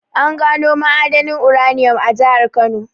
An gano ma'adanin uranium a jahar Kano.